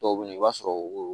Dɔw bɛ yen i b'a sɔrɔ